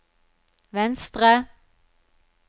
venstre